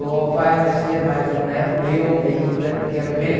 Ou vai nascer mais um neto, eu ainda quero ver.